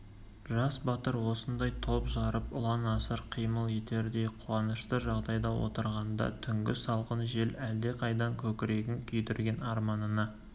жас батыр осындай топ жарып ұлан-асыр қимыл етердей қуанышты жағдайда отырғанда түнгі салқын жел әлдеқайдан көкірегін күйдірген арманына